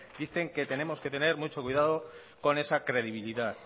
dicen que tenemos que tener mucho cuidado con esa credibilidad